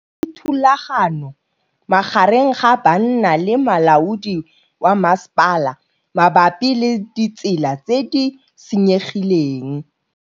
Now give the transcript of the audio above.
Go na le thulanô magareng ga banna le molaodi wa masepala mabapi le ditsela tse di senyegileng.